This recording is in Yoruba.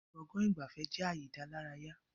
Gbọ̀ngán ìgbafẹ́ jẹ ààyè ìdálárayá